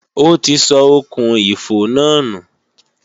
Ó ti sọ okùn-ìfò náà nù